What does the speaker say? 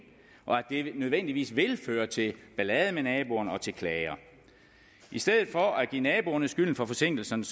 og at det nødvendigvis vil føre til ballade med naboerne og til klager i stedet for at give naboerne skylden for forsinkelserne